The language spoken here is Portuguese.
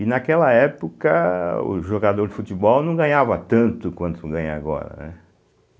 E naquela época, o jogador de futebol não ganhava tanto quanto ganha agora, né.